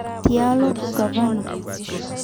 Tialo Ugavana.